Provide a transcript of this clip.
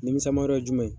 Nimisiwa jumɛn